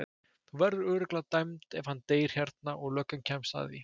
Þú verður örugglega dæmd ef hann deyr hérna og löggan kemst að því.